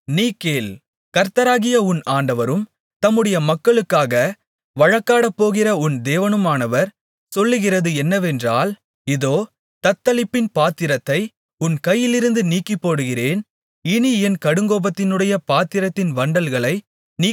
கர்த்தராகிய உன் ஆண்டவரும் தம்முடைய மக்களுக்காக வழக்காடப்போகிற உன் தேவனுமானவர் சொல்கிறது என்னவென்றால் இதோ தத்தளிப்பின் பாத்திரத்தை உன் கையிலிருந்து நீக்கிப்போடுகிறேன் இனி என் கடுங்கோபத்தினுடைய பாத்திரத்தின் வண்டல்களை நீ குடிப்பதில்லை